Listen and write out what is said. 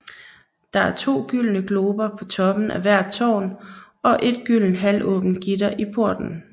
Der er to gyldne glober på toppen af hvert tårn og et gyldent halvåbent gitter i porten